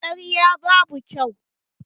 Karya babu kyau